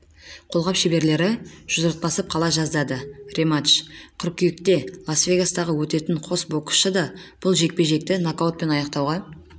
қолғап шеберлері жұдырықтасып қала жаздады рематч қыркүйекте лас-вегастағы өтеді қос боксшы дабұл жекпе-жекті нокаутпен аяқтауға